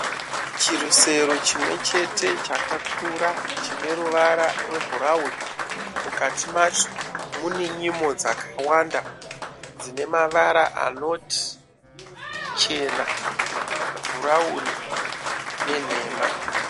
Chirusero chimwe chete chakakura chineruvara rwebhurauni. Mukati macho mune nyimo dzakawanda dzine mavara anoti chena, bhurauni nenhema.